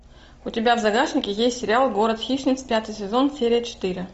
у тебя в загашнике есть сериал город хищниц пятый сезон серия четыре